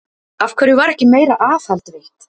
Af hverju var ekki meira aðhald veitt?